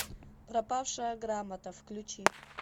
пропавшая грамота включи